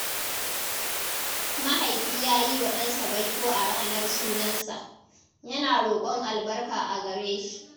Mahaifi ya yi wa ɗansa baiko a ranar sunansa, yana roƙon albarka a gare shi.